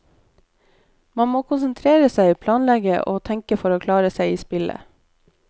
Man må konsentrere seg, planlegge og tenke for å klare seg i spillet.